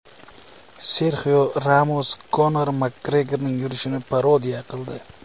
Serxio Ramos Konor Makgregorning yurishini parodiya qildi.